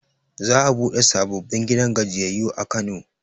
Za a buɗe sababbin gidan gajiyayyu a kano